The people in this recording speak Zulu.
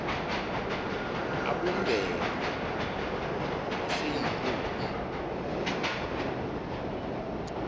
abumbene aseyurophu eu